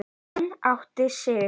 Hann áttaði sig.